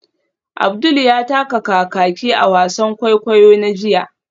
Abdul ya taka kakaki a wasan kwaikwayo na jiya